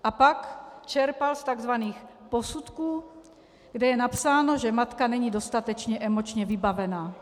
A pak čerpal z tzv. posudků, kde je napsáno, že matka není dostatečně emočně vybavena.